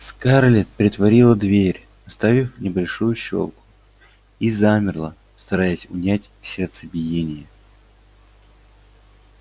скарлетт притворила дверь оставив небольшую щёлку и замерла стараясь унять сердцебиение